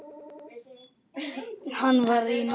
Hann var í norður.